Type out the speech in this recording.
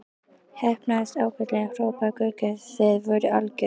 Heppnaðist ágætlega hrópaði Gaukur, þið voruð algjört.